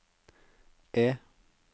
E